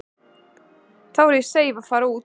Þá er ég seif að fara út.